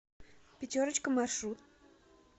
пятерочка маршрут